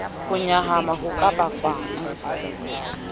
ho nyahama ho ka bakwang